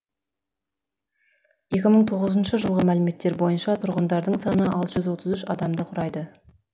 екі мың тоғызыншы жылғы мәліметтер бойынша тұрғындарының саны алты жүз отыз жүз адамды құрады